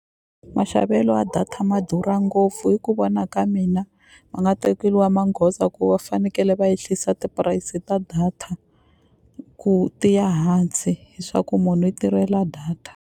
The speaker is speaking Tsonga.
Maxavelo ya data ma durha ngopfu hi ku vona ka mina ma nga tekeriwa magoza ku va fanekele va ehlisa tipurayisi ta data ku tiya hansi hiswaku munhu u tirhela data.